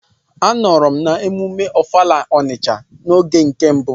Anọrọ m n'emume ọfala Ọnisha oge nke mbụ.